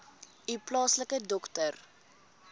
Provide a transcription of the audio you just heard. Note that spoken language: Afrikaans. u plaaslike dokter